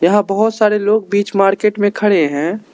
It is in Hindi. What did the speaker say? यहां बहुत सारे लोग बीच मार्केट में खड़े है।